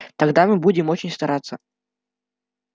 тогда мы будем очень стараться